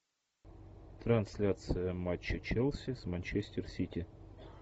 трансляция матча челси с манчестер сити